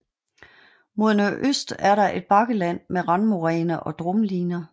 Mod nordøst er der et bakkeland med randmoræne og drumliner